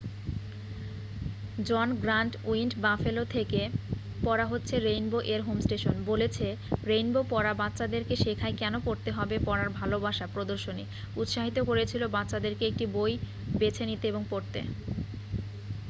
"জন Grant উইন্ড Buffalo থেকে পড়া হচ্ছে রেইনবো-এর হোম স্টেশন বলেছে রেইনবো পড়া বাচ্চাদেরকে শেখায় কেন পড়তে হবে ...পড়ার ভালোবাসা -[ প্রদর্শনী ] উৎসাহিত করেছিল বাচ্চাদেরকে একটি বই বেছে নিতে এবং পড়তে।"